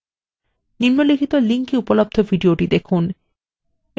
নিম্নলিখিত link এ উপলব্ধ video দেখুন